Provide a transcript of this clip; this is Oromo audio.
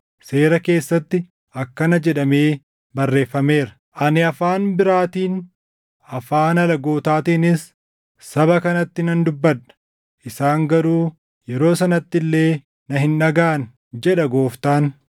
Seera keessatti akkana jedhamee barreeffameera: “Ani afaan biraatiin, afaan alagootaatiinis saba kanatti nan dubbadha; isaan garuu yeroo sanatti illee na hin dhagaʼan, jedha Gooftaan.” + 14:21 \+xt Isa 28:11,12\+xt*